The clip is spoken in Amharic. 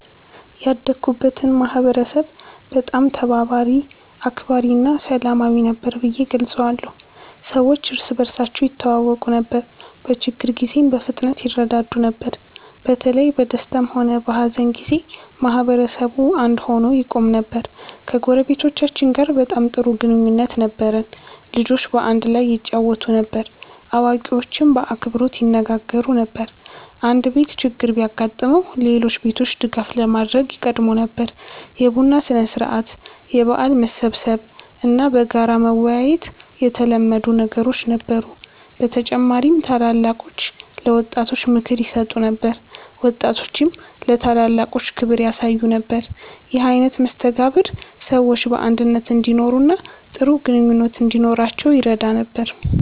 ያደግኩበትን ማህበረሰብ በጣም ተባባሪ፣ አክባሪ እና ሰላማዊ ነበር ብዬ እገልጸዋለሁ። ሰዎች እርስ በርሳቸው ይተዋወቁ ነበር፣ በችግር ጊዜም በፍጥነት ይረዳዱ ነበር። በተለይ በደስታም ሆነ በሀዘን ጊዜ ማህበረሰቡ አንድ ሆኖ ይቆም ነበር። ከጎረቤቶቻችን ጋር በጣም ጥሩ ግንኙነት ነበረን። ልጆች በአንድ ላይ ይጫወቱ ነበር፣ አዋቂዎችም በአክብሮት ይነጋገሩ ነበር። አንድ ቤት ችግር ቢያጋጥመው ሌሎች ቤቶች ድጋፍ ለማድረግ ይቀድሙ ነበር። የቡና ሥነ-ሥርዓት፣ የበዓል መሰብሰብ እና በጋራ መወያየት የተለመዱ ነገሮች ነበሩ። በተጨማሪም ታላላቆች ለወጣቶች ምክር ይሰጡ ነበር፣ ወጣቶችም ለታላላቆች ክብር ያሳዩ ነበር። ይህ አይነት መስተጋብር ሰዎች በአንድነት እንዲኖሩ እና ጥሩ ግንኙነት እንዲኖራቸው ይረዳ ነበር።